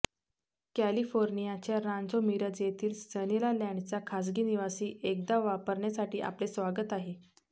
कॅलिफोर्नियाच्या Rancho Mirage येथील सनीलालँडचा खाजगी निवासी एकदा वापरण्यासाठी आपले स्वागत आहे